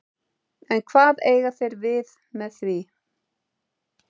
En hvað eiga þeir við með því?